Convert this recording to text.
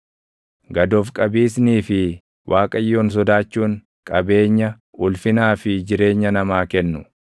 Gad of qabiisnii fi Waaqayyoon sodaachuun, qabeenya, ulfinaa fi jireenya namaa kennu.